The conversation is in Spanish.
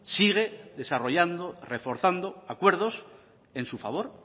sigue desarrollando reforzando acuerdos en su favor